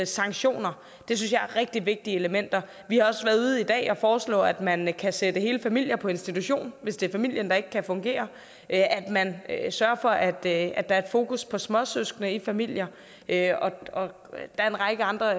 sanktioner det synes jeg er rigtig vigtige elementer vi har også været ude i dag og foreslå at man kan sætte hele familier på institution hvis det er familien der ikke kan fungere og at at man sørger for at der er fokus på småsøskende i familier der er en række andre